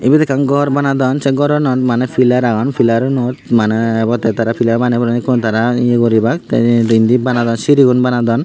eyot ekkan gor banadon se goranot maney pilar agon pilarunot maney ebote tara pilar baney pureyon ekku tara ye guribak te indi banadon sirigun banadon.